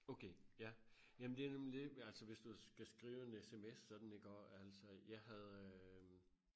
okay ja jamen det er nemlig det altså hvis du skal skrive en SMS sådan iggå altså jeg havde øhm